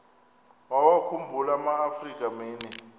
wawakhumbul amaafrika mini